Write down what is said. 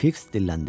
Fiks dilləndi: